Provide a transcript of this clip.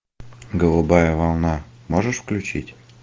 голубая волна можешь включить